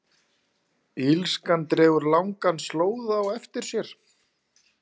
Illskan dregur langan slóða á eftir sér.